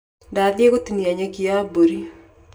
Ndathiĩ gũtinia nyeki ya mbũri.